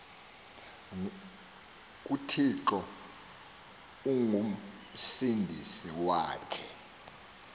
kuthixo ongumsindisi wakhe